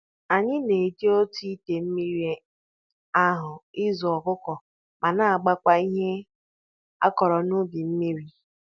Anyị na-eji otu ite mmiri ahụ azụ ọkụkọ ma na-agbakwa ihe a kụrụ n'ubi mmiri.